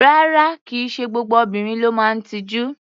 Rárá, kì í ṣe gbogbo obìnrin ló máa ń tijú.